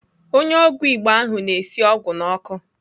Onye ọgwụ Igbo ahụ na-esi ọgwụ n'ọkụ.